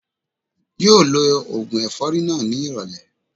Yóò lo ògùn ẹ̀fọ́rí náà ní ìrọ̀lẹ́